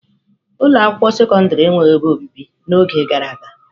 Ụlọ akwụkwọ sekọndrị enweghị ebe obibi n'oge gara aga.